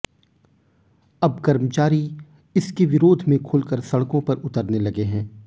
अब कर्मचारी इसके विरोध में खुलकर सड़को पर उतरने लगे हैं